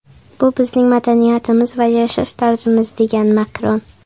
Bu bizning madaniyatimiz va yashash tarzimiz”, degan Makron.